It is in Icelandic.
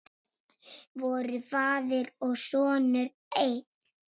Voru faðir og sonur einn?